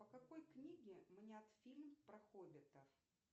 по какой книге снят фильм про хоббитов